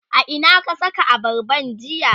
a Ina ka Saka abarban jiya?